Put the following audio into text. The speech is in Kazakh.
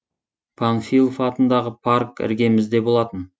панфилов атындағы парк іргемізде болатын